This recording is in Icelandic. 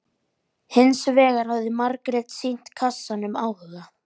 Hins vegar hafði Margrét sýnt kassanum áhuga.